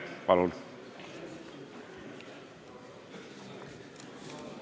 Palun!